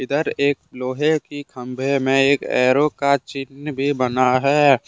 इधर एक लोहे की खंबे में एक ऐरो का चिन्ह भी बना है।